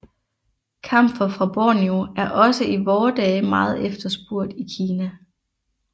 Kamfer fra Borneo er også i vore dage meget efterspurgt i Kina